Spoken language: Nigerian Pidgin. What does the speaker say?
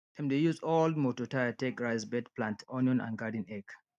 dem dey use old moto tyre take raise bed plant onion and garden egg